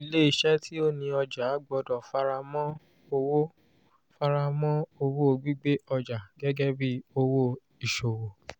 ilé isẹ́ tí ó ni ọjà gbódò fara mọ owó fara mọ owó gbígbé ojà gẹgẹ bí owó ìṣòwò